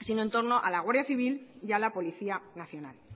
sino en torno a la guardia civil y a la policía nacional